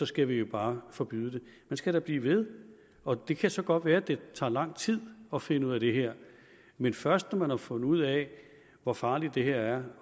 skal vi bare forbyde det man skal da blive ved og det kan så godt være at det tager lang tid at finde ud af det her men først når man har fundet ud af hvor farligt det her